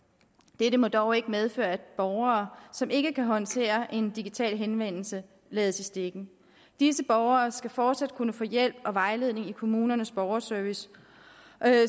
dette må dog ikke medføre at borgere som ikke kan håndtere en digital henvendelse lades i stikken disse borgere skal fortsat kunne få hjælp og vejledning i kommunernes borgerservice